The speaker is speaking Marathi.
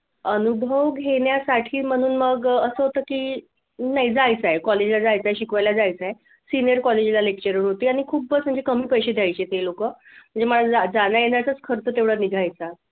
अनुभव घेण्यासाठी म्हणून मग असं होतं की नाही जायचंय college ला जायचंय शिकवायला जायचंय senior college ला lecture होती आणि खूप म्हणजे कमी पैसे द्यायचे ते लोक म्हणजे माझा जाण्यातच खर्च तेवढा निघायचा.